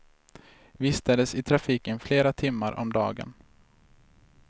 Vistades i trafiken flera timmar om dagen.